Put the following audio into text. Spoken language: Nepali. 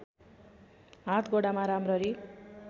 हात गोडामा राम्ररी